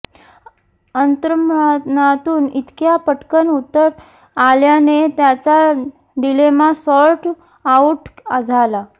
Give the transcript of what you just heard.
अंतर्मनातून इतक्या पटकन उत्तर आल्याने त्याचा डिलेमा सॉर्ट आउट झाला